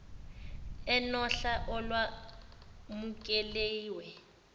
enohla olwa mukeliwe